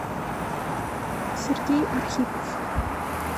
сергей архипов